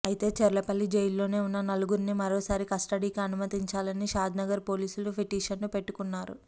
అయితే చర్లపల్లి జైలులోనే ఉన్న నలుగురిని మరోసారి కస్టడీకి అనుమతించాలని షాద్నగర్ పోలీసులు పిటిషన్ పెట్టుకున్నారు